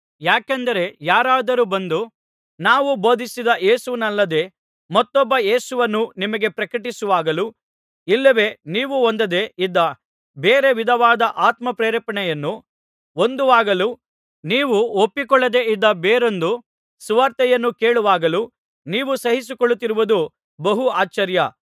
ಯಾಕೆಂದರೆ ಯಾರಾದರು ಬಂದು ನಾವು ಬೋಧಿಸಿದ ಯೇಸುವನ್ನಲ್ಲದೆ ಮತ್ತೊಬ್ಬ ಯೇಸುವನ್ನು ನಿಮಗೆ ಪ್ರಕಟಿಸುವಾಗಲೂ ಇಲ್ಲವೇ ನೀವು ಹೊಂದದೆ ಇದ್ದ ಬೇರೆ ವಿಧವಾದ ಆತ್ಮಪ್ರೇರಣೆಯನ್ನು ಹೊಂದುವಾಗಲೂ ನೀವು ಒಪ್ಪಿಕೊಳ್ಳದೆ ಇದ್ದ ಬೇರೊಂದು ಸುವಾರ್ತೆಯನ್ನು ಕೇಳುವಾಗಲೂ ನೀವು ಸಹಿಸಿಕೊಳ್ಳುತ್ತಿರುವುದು ಬಹು ಆಶ್ಚರ್ಯ